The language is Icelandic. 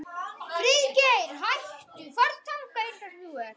Að leitað verði fjárveitingar til háskólabyggingar.